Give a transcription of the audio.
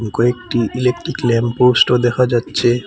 কয়েকটি electric lamp পোস্টও দেখা যাচ্ছে।